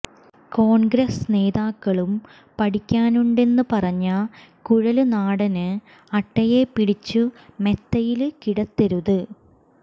കോണ്ഗ്രസ് നേതാക്കളും പഠിക്കാനുണ്ടെന്ന് പറഞ്ഞ കുഴല്നാടന് അട്ടയെ പിടിച്ചു മെത്തയില് കിടത്തരുത്